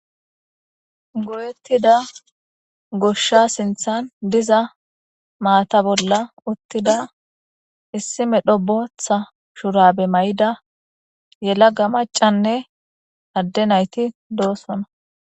Goyettida gushsha sinthan diza maata bolla uttida issime dho botha shurabe may'ida yela ga macanne adde nayti doosona.